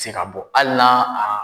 se ka bɔ ali na a.